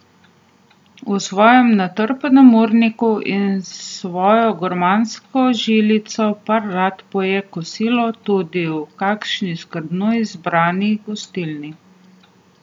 V svojem natrpanem urniku in s svojo gurmansko žilico par rad poje kosilo tudi v kakšni skrbno izbrani gostilni.